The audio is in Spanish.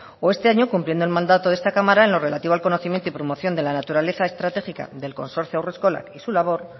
o este año cumpliendo el mandato de esta cámara en lo relativo al conocimiento y promoción de la naturaleza estratégica del consorcio haurreskolak y su labor